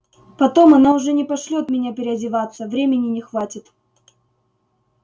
потом она уже не пошлёт меня переодеваться времени не хватит